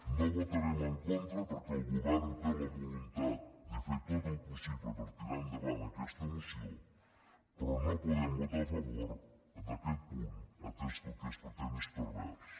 no hi votarem en contra perquè el govern té la voluntat de fer tot el possible per tirar endavant aquesta moció però no podem votar a favor d’aquest punt atès que el que es pretén és pervers